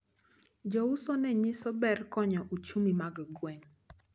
Jouso nenyiso ber konyo uchumi mar gweng`.